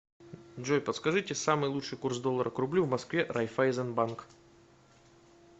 джой подскажите самый лучший курс доллара к рублю в москве райфайзен банк